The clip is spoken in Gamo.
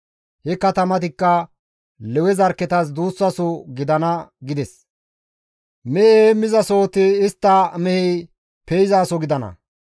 He katamatikka Lewe zarkketas duussaso gidana gides; mehe heemmizasohoti istta mehey pe7izaso gidana.